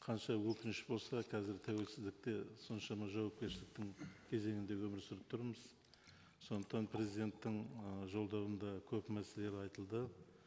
қанша өкініш болса қазір тәуелсіздікте соншама жауапкершіліктің кезеңіндегі өмір сүріп тұрмыз сондықтан президенттің ы жолдауында көп мәселелер айтылды